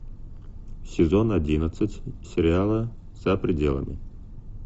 сезон одиннадцать сериала за пределами